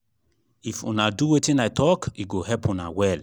if una do wetin i talk e go help una well